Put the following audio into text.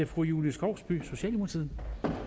fru julie skovsby socialdemokratiet